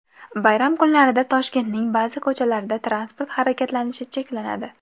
Bayram kunlarida Toshkentning ba’zi ko‘chalarida transport harakatlanishi cheklanadi.